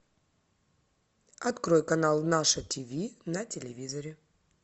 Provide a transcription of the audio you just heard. открой канал наше тв на телевизоре